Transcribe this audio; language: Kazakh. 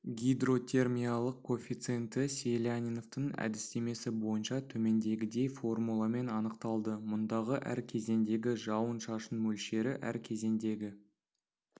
гидротермиялық коэффициенті селяниновтың әдістемесі бойынша төмендегідей формуламен анықталды мұндағы әр кезеңдегі жауын-шашын мөлшері әр кезеңдегі